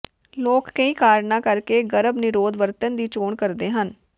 ਲੋਕ ਕਈ ਕਾਰਨਾਂ ਕਰਕੇ ਗਰਭ ਨਿਰੋਧ ਵਰਤਣ ਦੀ ਚੋਣ ਕਰਦੇ ਹਨ